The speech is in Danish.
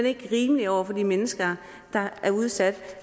ikke rimeligt over for de mennesker der er udsat